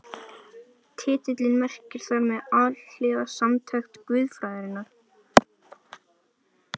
Titillinn merkir þar með Alhliða samantekt guðfræðinnar.